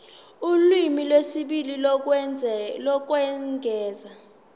ulimi lwesibili lokwengeza